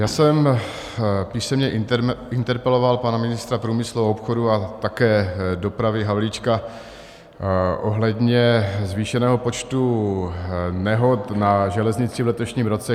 Já jsem písemně interpeloval pana ministra průmyslu a obchodu a také dopravy Havlíčka ohledně zvýšeného počtu nehod na železnici v letošním roce.